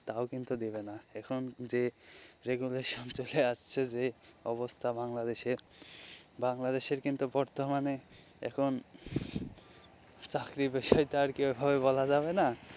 তাও কিন্তু দেবে না এখন যে রেগুলেশন চলে আসছে যে অবস্থা বাংলাদেশের বাংলাদেশে কিন্তু বর্তমানে এখন চাকরির বিষয় টা আর কি ঐভাবে বলা যাবে না.